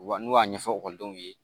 Wa n'u y'a ɲɛfɔ ekɔlidenw ye